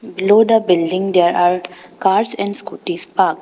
Below the building there are cars and scooties parked.